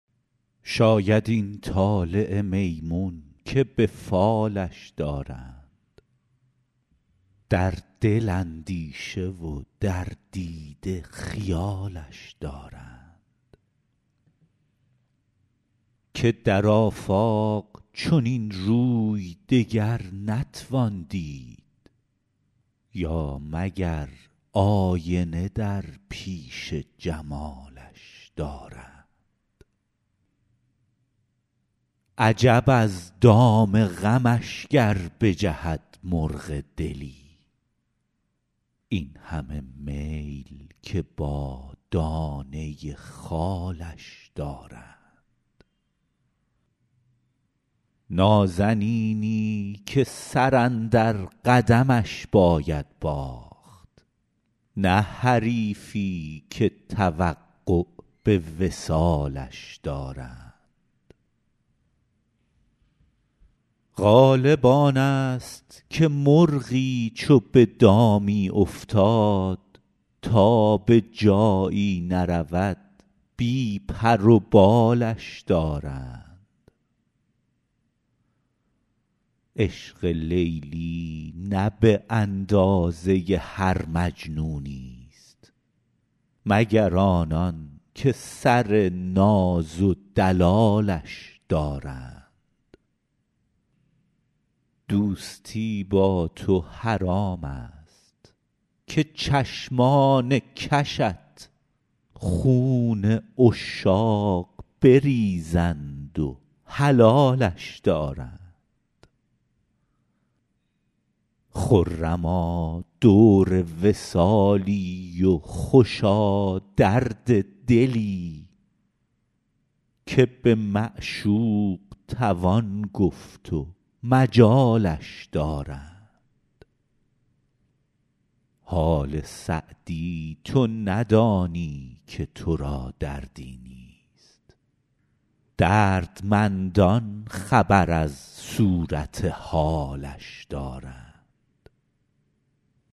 شاید این طلعت میمون که به فالش دارند در دل اندیشه و در دیده خیالش دارند که در آفاق چنین روی دگر نتوان دید یا مگر آینه در پیش جمالش دارند عجب از دام غمش گر بجهد مرغ دلی این همه میل که با دانه خالش دارند نازنینی که سر اندر قدمش باید باخت نه حریفی که توقع به وصالش دارند غالب آن ست که مرغی چو به دامی افتاد تا به جایی نرود بی پر و بالش دارند عشق لیلی نه به اندازه هر مجنونی ست مگر آنان که سر ناز و دلالش دارند دوستی با تو حرام ست که چشمان کشت خون عشاق بریزند و حلالش دارند خرما دور وصالی و خوشا درد دلی که به معشوق توان گفت و مجالش دارند حال سعدی تو ندانی که تو را دردی نیست دردمندان خبر از صورت حالش دارند